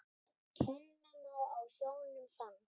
Kenna má á sjónum þann.